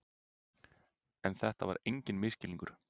En þetta var enginn misskilningur.